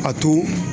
A to